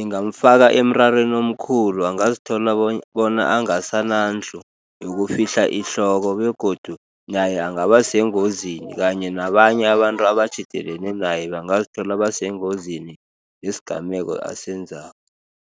ingamfaka emrarweni omkhulu. Angazithola bona angasanandlu yokukufihla ihloko, begodu naye angabasengozini, kanye nabanye abantu abatjhidelene naye, bangazithola basengozini yesigameko asenzako.